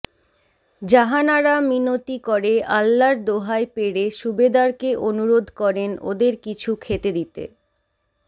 জাহানারা মিনতি করে আল্লার দোহাই পেড়ে সুবেদারকে অনুরোধ করেন ওদের কিছু খেতে দিতে